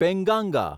Penganga